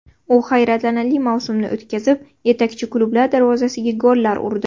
U hayratlanarli mavsumni o‘tkazib, yetakchi klublar darvozasiga gollar urdi.